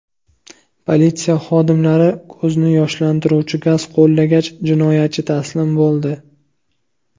Politsiya xodimlari ko‘zni yoshlantiruvchi gaz qo‘llagach, jinoyatchi taslim bo‘ldi.